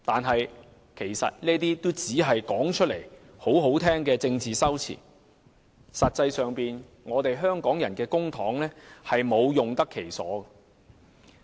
可是，這些只是說起來很動聽的政治修辭，實際上香港的公帑卻沒有用得其所。